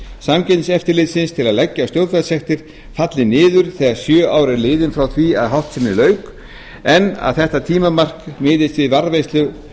samkeppniseftirlitsins til að leggja á stjórnvaldssektir falli niður þegar sjö ár eru liðin frá því að háttsemi lauk en þetta tímamark miðast við varðveislu